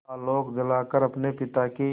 आलोक जलाकर अपने पिता की